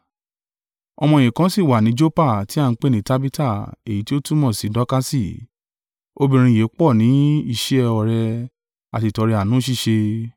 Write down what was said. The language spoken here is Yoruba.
Ọmọ-ẹ̀yìn kan sí wà ní Joppa ti a ń pè ni Tabita (èyí tí ó túmọ̀ sí Dọkasi); obìnrin yìí pọ̀ ni iṣẹ́ oore, àti ìtọrẹ àánú ṣíṣe.